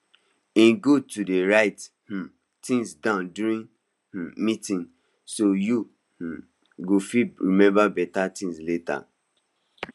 e good to dey write um things down during um meeting so you um go fit remember beta things later